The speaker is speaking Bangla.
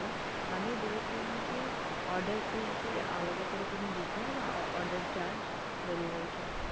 আমি বলছিলাম কি order fee কি আলাদা করে কোনো দিতে হবে order charge delivery charge?